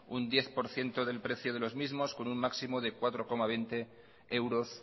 un diez por ciento del precio de los mismos con un máximo de cuatro coma veinte euros